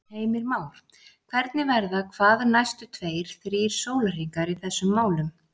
Heimir Már: Hvernig verða hvað næstu tveir, þrír sólarhringar í þessum málum?